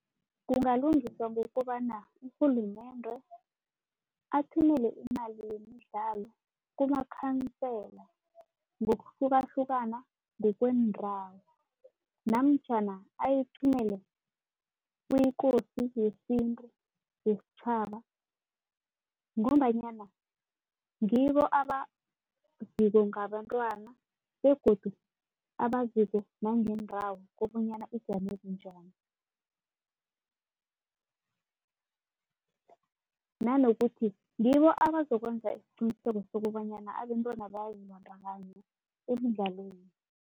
Kungalungiswa ngokobana urhulumende athumele imali yemidlalo kumakhansela ngokuhlukahlukana ngokweendawo namtjhana ayithumele kuKosi yesintu yesitjhaba ngombanyana ngibo abaziko ngabantwana begodu abaziko nangeendawo bonyana zijame bunjani. Nanokuthi ngibo abazokwenza isiqiniseko sokobanyana abentwana bazibandakanya emidlalweni.